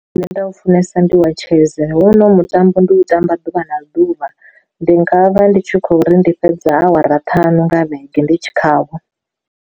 Nda u funesa ndi wa chess huno mutambo ndi u tamba ḓuvha na ḓuvha, ndi nga vha ndi tshi khou ri ndi fhedza awara ṱhanu nga vhege ndi tshi khawo.